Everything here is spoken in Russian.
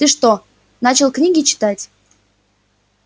ты что начал книги читать